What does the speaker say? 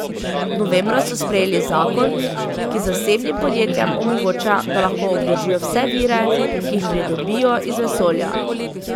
Novembra so sprejeli zakon, ki zasebnim podjetjem omogoča, da lahko obdržijo vse vire, ki jih pridobijo iz vesolja.